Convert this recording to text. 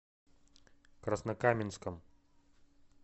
краснокаменском